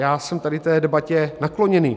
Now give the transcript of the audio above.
Já jsem tady té debatě nakloněný.